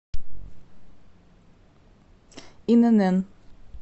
инн